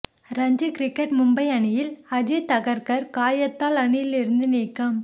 Ranji cricket Mumbai அணியில் அஜித் அகர்கர் காயத்தால் அணியில் இருந்து நீக்கம்